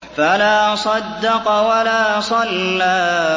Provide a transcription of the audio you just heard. فَلَا صَدَّقَ وَلَا صَلَّىٰ